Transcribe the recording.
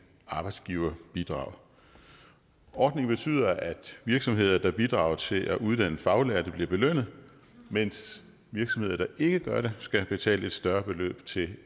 arbejdsgiverbidrag ordningen betyder at virksomheder der bidrager til at uddanne faglærte bliver belønnet mens virksomheder der ikke gør det skal betale et større beløb til